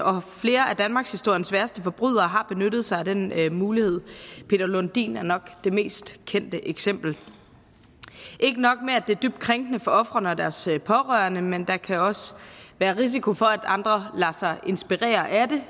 og flere af danmarkshistoriens værste forbrydere har benyttet sig af den mulighed peter lundin er nok det mest kendte eksempel ikke nok med at det er dybt krænkende for ofrene og deres pårørende men der kan også være risiko for at andre lader sig inspirere af det